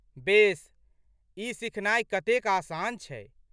बेस, ई सिखनाइ कतेक आसान छै?